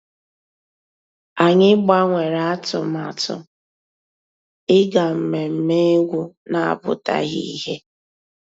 Ànyị́ gbànwèré àtụ̀màtụ́ ìgá mmèmè égwu ná-àpụ́tághị́ ìhè.